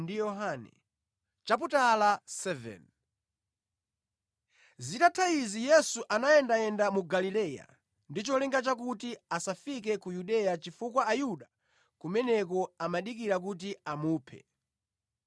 Zitatha izi Yesu anayendayenda mu Galileya, ndi cholinga chakuti asafike ku Yudeya chifukwa Ayuda kumeneko amadikira kuti amuphe.